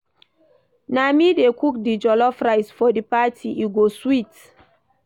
Na me dey cook di jollof rice for di party, e go sweet.